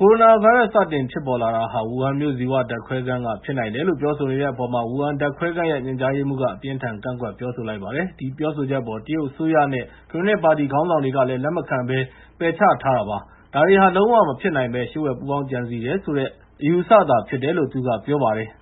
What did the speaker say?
ကိုရိုနာဗိုင်းရပ်စ် စတင်ဖြစ်ပေါ်လာတာဟာ ဝူဟန်မြို့ ဇီဝဓာတ်ခွဲခန်းကနေ ဖြစ်နိုင်တယ်လို့ ပြောဆိုနေတဲ့အပေါ်မှာ ဝူဟန်ဓာတ်ခွဲခန်းရဲ့ ညွှန်ကြားရေးမှူးက အပြင်းအထန် ကန့်ကွက် ပြောဆိုလိုက်ပါတယ်။ ဒီပြောဆိုချက်အပေါ် တရုတ်အစိုးရနဲ့ ကွန်မြူနစ်ပါတီ ခေါင်းဆောင်တွေကလည်း လက်မခံဘဲ ပယ်ချထားတာပါ။ ဒါတွေဟာ လုံးဝမဖြစ်နိုင်ဘဲ လျှို့ဝှက်ပူးပေါင်းကြံစည်တယ်ဆိုတဲ့ အယူအဆသာ ဖြစ်တယ်လို့ သူက ပြောလိုက်ပါတယ်။